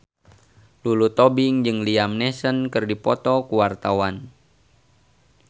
Lulu Tobing jeung Liam Neeson keur dipoto ku wartawan